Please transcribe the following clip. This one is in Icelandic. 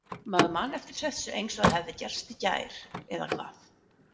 Maður man eftir þessu eins og það hefði gerst í gær. eða hvað?